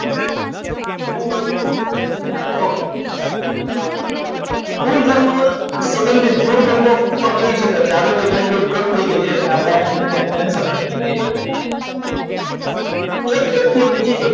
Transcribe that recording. okay કોઈ ગામમાં સંબંધી કરી શકે છે આગળની લાઈન થોડી કટ થઈ ગઈ છે એટલે આપણે આ લાઈનને cancel રાખીએ છીએ એટલે તમને કોઈક વ્યક્તિ બીજી જગ્યાએ